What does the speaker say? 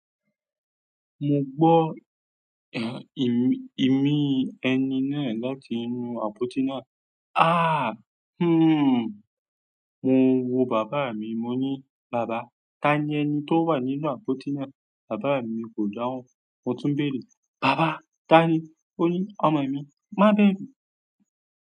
Mo gbọ́, eh, i-ìmi ẹni náà láti inú àpótí náà. Aah huuu un mo wo bàbá mi mo ni tani ẹni tó wà nínú àpótí náà. Bàbá mi kò dáhùn. Mo tún béèrè, "Bàbá, tá ni?" o ni ọmọ mi má bẹ̀rù.